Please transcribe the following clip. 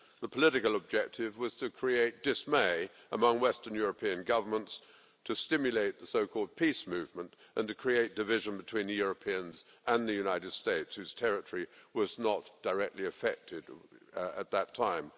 The political objective was to create dismay among Western European governments, to stimulate the so called peace movement and to create division between the Europeans and the United States, whose territory was not directly affected at that time.